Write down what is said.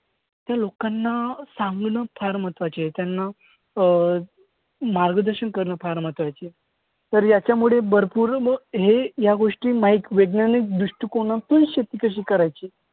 त्या लोकांना सांगणं फार महत्वाचं आहे. त्यांना अं मार्गदर्शन करणं फार महत्वाचं आहे. तर याच्यामुळे भरपूर लोक हे या गोष्टी वैज्ञानिक दृष्टिकोनातून शेती कशी करायची?